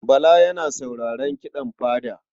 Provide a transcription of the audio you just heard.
Bala yana sauraron kiɗan fada.